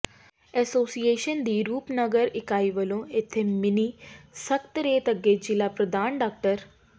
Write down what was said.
association ਦੀ ਰੂਪਨਗਰ ਇਕਾਈ ਵੱਲੋਂ ਇੱਥੇ ਮਿੰਨੀ ਸਕੱਤਰੇਤ ਅੱਗੇ ਜ਼ਿਲ੍ਹਾ ਪ੍ਰਧਾਨ ਡਾ